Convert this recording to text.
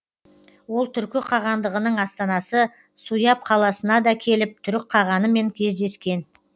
ол түркі қағандығының астанасы суяб қаласына да келіп түрік қағанымен кездескен